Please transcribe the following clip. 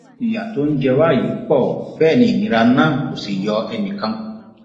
ìyà tó ń jẹ wá yìí pọ bẹẹ ni ìnira náà kò sì yọ ẹnì kan kù